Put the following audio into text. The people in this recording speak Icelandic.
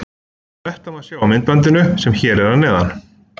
Þetta má sjá á myndbandinu sem er hér að neðan.